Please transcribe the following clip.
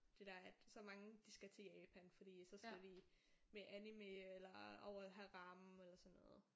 Det der at så mange de skal til Japan fordi at så skal de med anime eller over og have ramen eller sådan noget